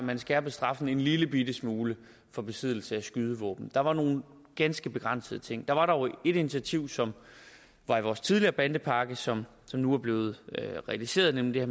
man skærpede straffen en lillebitte smule for besiddelse af skydevåben der var nogle ganske begrænsede ting der var dog et initiativ som var i vores tidligere bandepakke som nu er blevet realiseret nemlig det